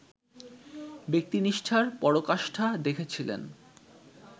ব্যক্তিনিষ্ঠার পরাকাষ্ঠা দেখেছিলেন